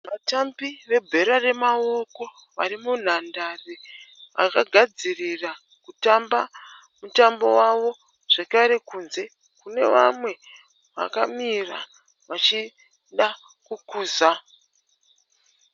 Vatambi vebhora remaoko vari munhandare vakagadzirira kutamba mutambo wavo zvekare kunze kune vamwe vakamira vachida kukuza.